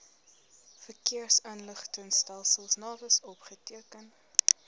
verkeersinligtingstelsel navis opgeteken